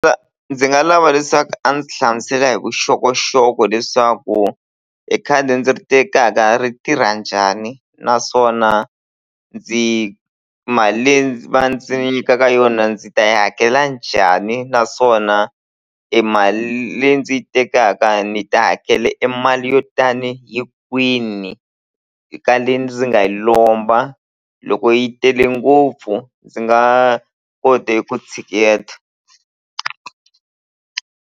Ndzi nga lava leswaku a ndzi hlamusela hi vuxokoxoko leswaku e khadi ndzi ri tekaka ri tirha njhani naswona ndzi mali leyi va ndzi nyikaka yona ndzi ta yi hakela njhani naswona e mali leyi ndzi yi tekaka ni ta hakela e mali yo tani hi kwini eka le ndzi nga yi lomba loko yi tele ngopfu ndzi nga kote eku tshiketa.